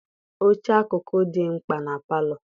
Oche akụkụ dị mkpa na palọ.